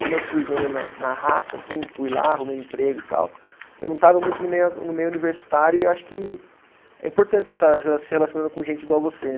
Como eu fui meio na na raça assim, fui lá, arrumei emprego e tal, eu não estava muito no meio a, no meio universitário e acho que é importante você estar rela, se relacionando com gente igual você